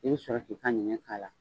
I bi sɔrɔ ki ka ɲɛnɲɛn k'a la.